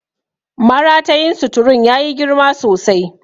Maratayin suturun ya yi girma sosai.